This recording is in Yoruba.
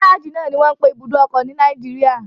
Gárájì náà ni wọ́n ń pe ibùdó ọkọ̀ ní Nàìjíríà.